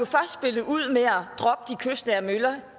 kystnære møller